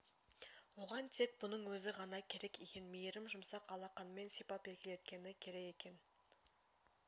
оған тек бұның өзі ғана керек екен мейірім жұмсақ алақанымен сипап еркелеткені керек екен